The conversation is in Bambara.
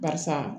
Barisa